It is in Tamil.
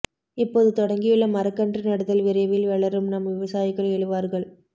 இப்போது தொடங்கியுள்ள மரக்கன்று நடுதல் விரைவில் வளரும் நம் விவசாயிகள் எழுவார்கள்